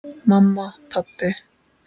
Mamma. pabbi.